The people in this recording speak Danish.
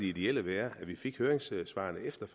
ideelle være at vi fik høringssvarene efter